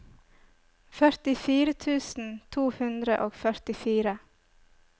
førtifire tusen to hundre og førtifire